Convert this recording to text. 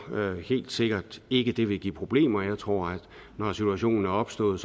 helt sikkert ikke det vil give problemer jeg tror at når situationen er opstået